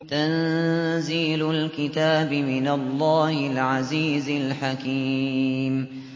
تَنزِيلُ الْكِتَابِ مِنَ اللَّهِ الْعَزِيزِ الْحَكِيمِ